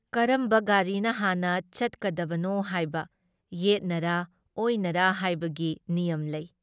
ꯀꯔꯝꯕ ꯒꯥꯔꯤꯅ ꯍꯥꯟꯅ ꯆꯠꯀꯗꯕꯅꯣ ꯍꯥꯏꯕ, ꯌꯦꯠꯅꯔꯥ ꯑꯣꯏꯅꯔꯥ ꯍꯥꯏꯕꯒꯤ ꯅꯤꯌꯝ ꯂꯩ ꯫